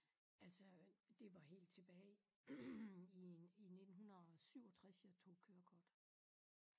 Altså det var helt tilbage i i 1967 jeg tog kørekort